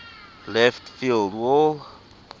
left field wall